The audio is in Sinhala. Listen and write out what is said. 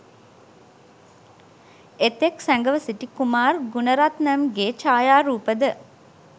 එතෙක්‌ සැඟව සිටි කුමාර් ගුණරත්නම්ගේ ඡායාරූපද